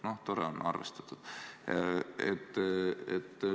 No tore on, arvestatud.